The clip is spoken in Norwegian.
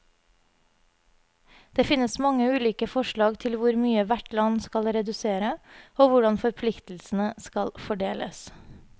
Det finnes mange ulike forslag til hvor mye hvert land skal redusere, og hvordan forpliktelsene skal fordeles.